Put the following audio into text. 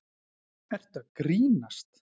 Ertu að grínast?!